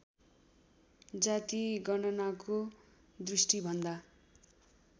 जातिगणनाको दृष्टि भन्दा